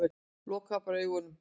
Loka bara augunum.